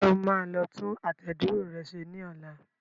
Ǹjẹ́ o máa lọ tún àtẹ̀dúró rẹ ṣe ní ọlá?